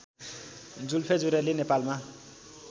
जुल्फे जुरेली नेपालमा